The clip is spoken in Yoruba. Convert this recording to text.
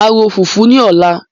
Màá ro fùfú ní ọ̀la.